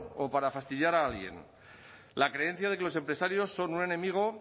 o para fastidiar a alguien la creencia de que los empresarios son un enemigo